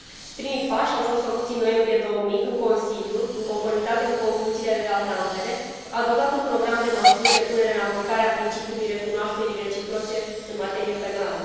Primii pași au fost făcuți în noiembrie 2000, când Consiliul, în conformitate cu Concluziile de la Tampere, a adoptat un program de măsuri de punere în aplicare a principiului recunoașterii reciproce în materie penală.